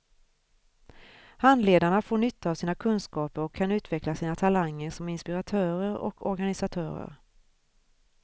Handledarna får nytta av sina kunskaper och kan utveckla sina talanger som inspiratörer och organisatörer.